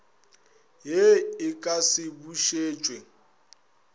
ye e ka se bušetšwe